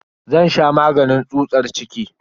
Zan sha maganin tsutsar ciki.